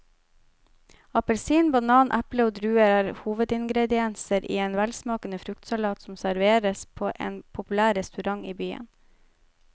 Appelsin, banan, eple og druer er hovedingredienser i en velsmakende fruktsalat som serveres på en populær restaurant i byen.